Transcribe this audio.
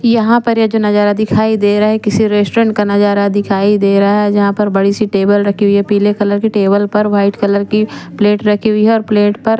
यहा पर जो ये नजारा दिखाई दे रहा है किसी रेस्टोरेंट का नजर दिखाई दे रहा है यहा पर बड़ी सी टेबल रखी हुई है पीले कलर की टेबल पर वाइट कलर की प्लेट रखी हुई है और प्लेट पर--